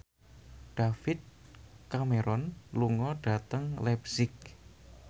David Cameron lunga dhateng leipzig